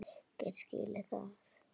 Ég get vel skilið það.